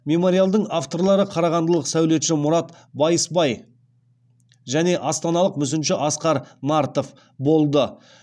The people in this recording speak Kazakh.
мемориалдың авторлары қарағандылық сәулетші мұрат байысбай және астаналық мүсінші асқар нартов болды